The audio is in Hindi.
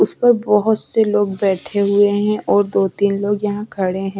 उस पर बहुत से लोग बैठे हुए हैं और दो-तीन लोग यहाँ खड़े हैं।